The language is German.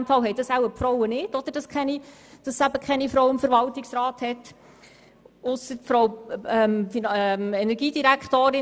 In diesem Fall haben offenbar die Frauen keine solchen, und deshalb gibt es keine Frauen im Verwaltungsrat ausser unserer Energiedirektorin.